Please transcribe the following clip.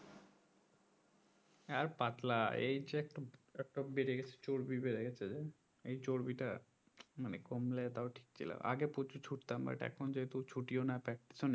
আর পাতলা এইযে একটা বেড়ে গেছে চর্বি বেড়ে গেছে যে এই চর্বিটা মানে কমলে তাও টিক ছিল আগে প্রচুর ছুটতাম but এখন যেহেতু ছুটিও না practice ও নেই